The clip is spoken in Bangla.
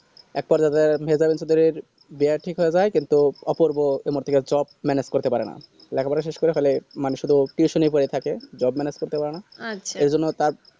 এর পর লেগে মেহেজাবিন চৌধুরীর বিয়া ঠিক হয়ে যায় কিন্তু অপূর্ব কোনো দিককার jobe manage করতে পারে না লেখা পড়া শেষ করে ফেলে মানে শুধু tiusan ই করে থাকে jobe manage করতে পারে না সে জন্য তার